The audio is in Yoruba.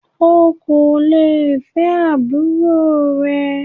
O kò lè fẹ́ àbúrò rẹ.